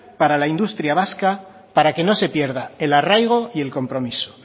para la industria vasca para que no se pierda el arraigo y el compromiso